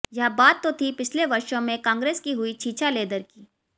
यह बात तो थी पिछले वर्षों में कांग्रेस की हुई छीछालेदर की